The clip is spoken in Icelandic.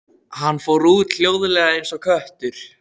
Hann fór út, hljóðlega eins og köttur.